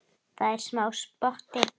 Það er smá spotti.